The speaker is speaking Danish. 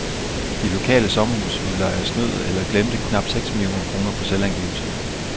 De lokale sommerhusudlejere snød eller glemte knap seks millioner kroner på selvangivelserne.